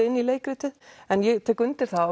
inn í leikritið en ég tek undir það